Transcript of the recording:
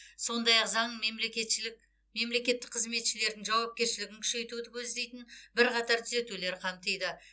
сондай ақ заң мемлекетшілік мемлекеттік қызметшілердің жауапкершілігін күшейтуді көздейтін бірқатар түзетулер қамтиды